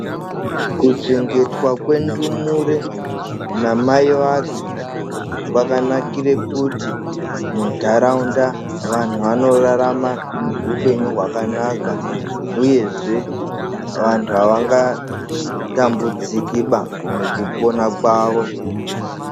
Kuchengetwa kwendumuree namai vadzo , kwakanakire kuti mundaraunda vanhu vanorarama upenyu hwakanaka uyezvee vantu havangaa tambudzikiba mukupona kwavo.